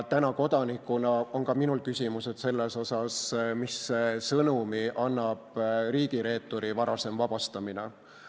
Ja kodanikuna on ka minul küsimus, millise sõnumi annab riigireeturi varasem vabastamine.